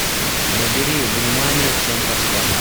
набери внимание всем постам